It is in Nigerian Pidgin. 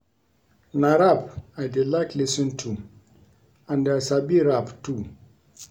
Na rap I dey like lis ten to and I sabi rap too